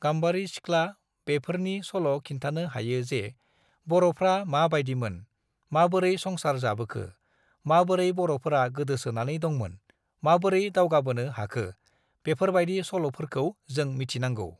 गाम्बारि सिख्ला बेफोरनि सल' खिन्थानो हायो जे बर'फ्रा माबायदिमोन, माबोरै संसार जाबोखो, माबोरै बर'फोरा गोदोसोनानै दंमोन, माबोरै दावगाबोनो हाखो, बेफोरबायदि सल'फोरखौ जों मिथिनांगौ।